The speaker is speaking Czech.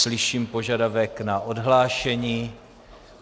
Slyším požadavek na odhlášení.